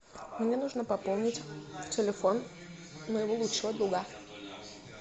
мне нужно пополнить телефон моего лучшего друга